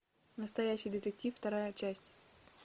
настоящий детектив вторая часть